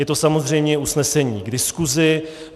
Je to samozřejmě usnesení k diskusi.